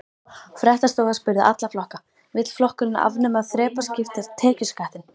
Fréttastofa spurði alla flokka: Vill flokkurinn afnema þrepaskipta tekjuskattinn?